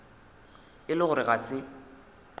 e le gore ga se